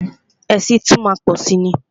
Ẹ̀sìn tún má a má pọ̀si ni.